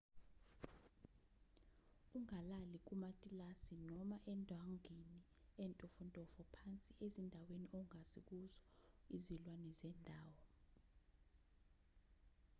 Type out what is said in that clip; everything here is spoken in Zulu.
ungalali kumatilasi noma endwangwini entofontofo phansi ezindaweni ongazi kuzo izilwane zendawo